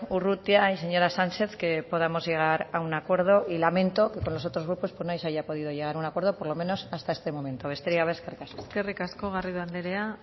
urrutia y señora sánchez que podamos llegar a un acuerdo y lamento que con los otros grupos no se haya podido llegar a un acuerdo por lo menos hasta este momento besterik gabe eskerrik asko eskerrik asko garrido andrea